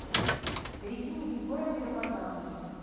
регине егоровне рамазановой